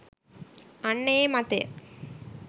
අන්න ඒ මතය